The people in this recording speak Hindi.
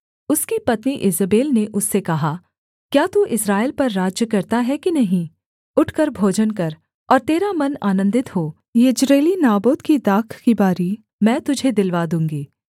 उसकी पत्नी ईजेबेल ने उससे कहा क्या तू इस्राएल पर राज्य करता है कि नहीं उठकर भोजन कर और तेरा मन आनन्दित हो यिज्रेली नाबोत की दाख की बारी मैं तुझे दिलवा दूँगी